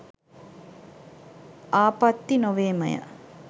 ආපත්ති නොවේමය